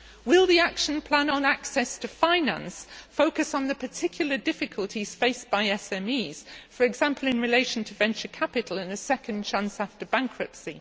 Will the action plan on access to finance focus on the particular difficulties faced by SMEs, for example in relation to venture capital and a second chance after bankruptcy?